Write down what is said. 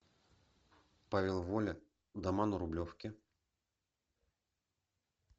павел воля дома на рублевке